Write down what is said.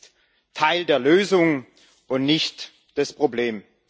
Sie ist Teil der Lösung und nicht das Problem.